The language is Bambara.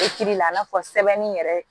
la i n'a fɔ sɛbɛnni yɛrɛ